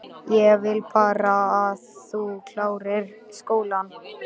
Ég vil bara að þú klárir skólann